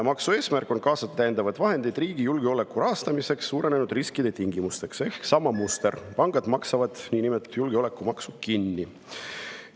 Maksu eesmärk on kaasata täiendavaid vahendeid riigi julgeoleku rahastamiseks suurenenud riskide tingimustes ehk on sama muster: pangad maksavad niinimetatud julgeolekumaksu kinni.